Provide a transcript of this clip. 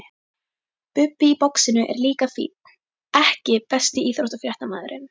Bubbi í boxinu er líka fínn EKKI besti íþróttafréttamaðurinn?